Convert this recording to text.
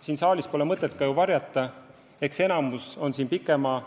Siin saalis pole mõtet varjata – enamik on siin ju üsna pikalt